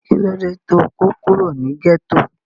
kí ló dé tó kó kúrò ní gẹ́tò?